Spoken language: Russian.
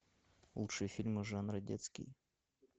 лучшие фильмы жанра детский